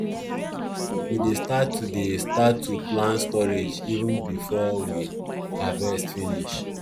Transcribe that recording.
we dey start to dey start to plan storage even before we harvest finish